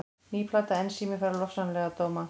Ný plata Ensími fær lofsamlega dóma